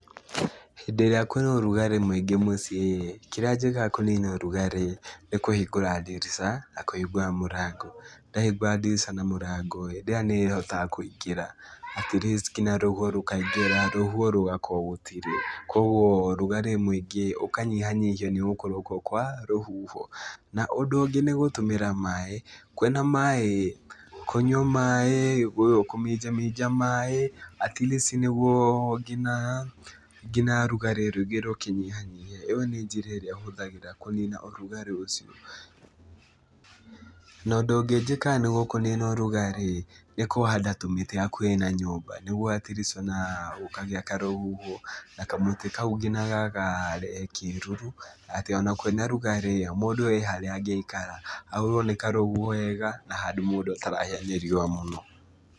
Hĩndĩ ĩrĩa kwĩna ũrugarĩ mũingĩ mũciĩ kĩrĩa njĩkaga kũnina ũrugarĩ nĩ kũhingũra ndirica na kũhingũra mũrango. Ndahingũra ndirica na mũrango, hĩndĩ ĩyo nĩhotaga kũingĩra at least kinya rũhuho rũkaingĩra, rũhuho rũgakorwo gũtirĩ. Kuoguo rugarĩ mũingĩ ũkanyihanyihio nĩ gũkorwo kuo kwa rũhuho, Na, ũndũ ũngĩ nĩ gũtũmĩra maĩ kwĩna maĩ, kũnyua maĩ, kũminjaminja maĩ at least nĩguo ngina ngina rugarĩ rũingĩ rũkĩnyihanyihe, ĩyo nĩ njĩra ĩrĩa hũthagĩra kũnina ũrugarĩ ũcio, Na, ũndũ ũngĩ njĩkaga nĩguo kũnina ũrugarĩ nĩ kũhanda tũmĩtĩ hakuhĩ na nyũmba, nĩguo at least ona gũkagĩa karũhuho na kamũtĩ kau nginya gagarehe kĩruru, atĩ ona kwĩna rugarĩ mũndũ he harĩa angĩikara, ahũrwo nĩ karũhuho wega na handũ mũndũ atarahĩa nĩ riũa mũno.